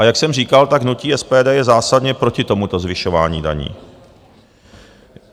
A jak jsem říkal, tak hnutí SPD je zásadně proti tomuto zvyšování daní.